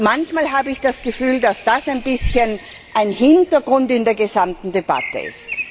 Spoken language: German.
Und manchmal habe ich das Gefühl, dass das ein bisschen ein Hintergrund in der gesamten Debatte ist.